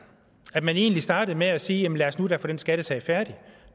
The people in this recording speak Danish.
at man egentlig startede med at sige jamen lad os nu da få den skattesag færdig